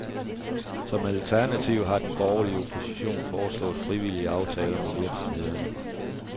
Som alternativ har den borgerlige opposition foreslået frivillige aftaler med virksomhederne.